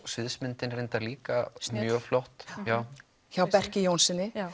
sviðsmyndin reyndar líka mjög flott hjá hjá Berki Jónssyni